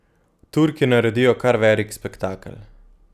Turki naredijo kar velik spektakel.